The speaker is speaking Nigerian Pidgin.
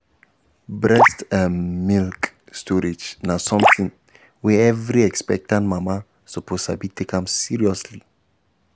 breast ehm milk storage na something um wey um every expectant mama suppose sabi and take am seriously